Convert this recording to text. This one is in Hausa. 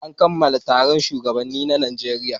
An kammala taron shugabannin ɗalibai na Najeriya.